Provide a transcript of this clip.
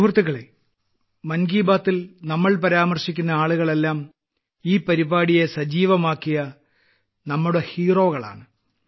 സുഹൃത്തുക്കളേ മൻ കി ബാത്തിൽ നമ്മൾ പരാമർശിക്കുന്ന ആളുകളെല്ലാം ഈ പരിപാടിയെ സജീവമാക്കിയ ഞങ്ങളുടെ ഹീറോകളാണ്